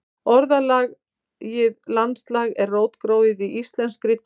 Orðið landslag er rótgróið í íslenskri tungu.